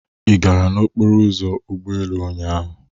Ị gara n'okporo ụzọ ụgbọelu ụnyaahụ?